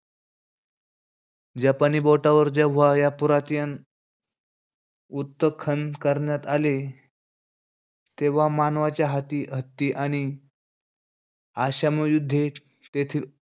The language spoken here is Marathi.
जपानी बोटावर जेव्हा या पुरातीयन उत्तखन करण्यात आले. तेव्हा मानवाच्या हत्ती आणि अश्मयुगामध्ये तेथील,